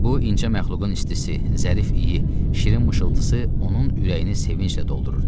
Bu incə məxluqun istisi, zərif iyi, şirin mışıltısı onun ürəyini sevinclə doldururdu.